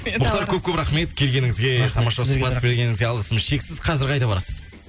мұхтар көп көп рахмет келгеніңізге тамаша сұхбат бергеніңізге алғысымыз шексіз қазір қайда барасыз